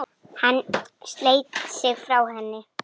Hann sleit sig frá henni.